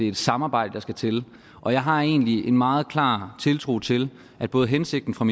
et samarbejde der skal til og jeg har egentlig en meget klar tiltro til at både hensigten fra